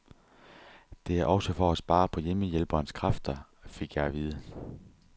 Det er også for at spare på hjemmehjælperens kræfter, fik jeg at vide.